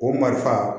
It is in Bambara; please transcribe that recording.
O marifa